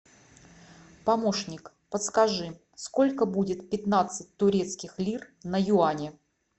помощник подскажи сколько будет пятнадцать турецких лир на юани